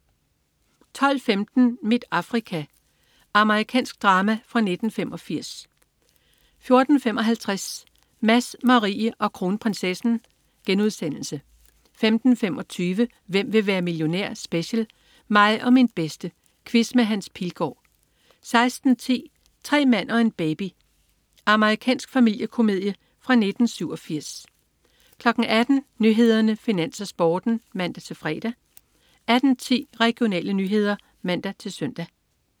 12.15 Mit Afrika. Amerikansk drama fra 1985 14.55 Mads, Marie og Kronprinsessen* 15.25 Hvem vil være millionær? Special. Mig og min bedste. Quiz med Hans Pilgaard 16.10 Tre mand og en baby. Amerikansk familiekomedie fra 1987 18.00 Nyhederne, Finans, Sporten (man-fre) 18.10 Regionale nyheder (man-søn)